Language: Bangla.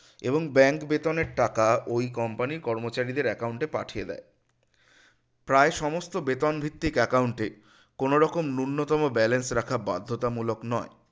এবং bank বেতনের টাকা ঐ company কর্মচারীদের account এ পাঠিয়ে দেয় প্রায় সমস্ত বেতন ভিত্তিক account ই কোনোরকম ন্যূনতম banace রাখা বাধ্যতামূলক নয়